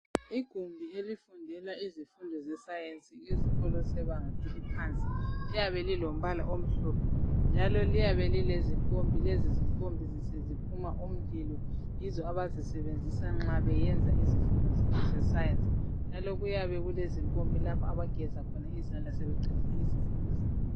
Igumbi elifundela izifundi se Science ezikolo sabanga laphansi liyabe lilombala omhlophe njalo liyabe lilezimpompi. Lezi zimpompi ziphuma umlilo yizo abazisebenzisa nxa beyenza izifundo zabo ze Science njalo kuyabe kulezimpompi lapho abageza khona izandla sebeqedile izifundo zabo